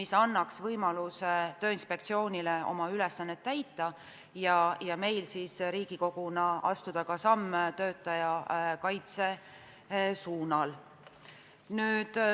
See annaks Tööinspektsioonile võimaluse oma ülesannet täita ja meil Riigikoguna astuda samme töötaja paremaks kaitsmiseks.